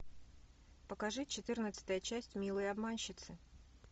покажи четырнадцатая часть милые обманщицы